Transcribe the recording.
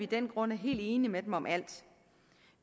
den grund er helt enige med dem om alt